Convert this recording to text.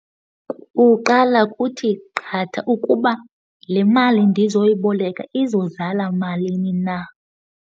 Kuqala kuthi qatha ukuba le mali ndizoyiboleka izozala malini na.